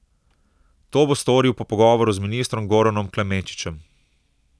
To bo storil po pogovoru z ministrom Goranom Klemenčičem.